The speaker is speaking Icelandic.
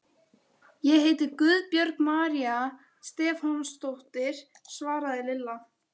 Ég heiti Guðbjörg María Stefánsdóttir svaraði Lilla.